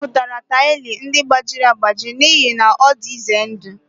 M tụpụrụ taịlị ndị gbajiri agbaji n'ihi na ọ dị ize ndụ